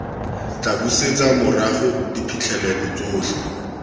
tla busetsa morago diphitlhelelo tsotlhe